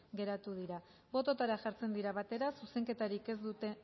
geratu dira bototara jartzen dira batera zuzenketarik ez duten